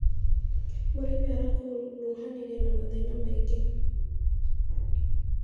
Mũrĩmi arakuruhanire na mathĩna maingĩ.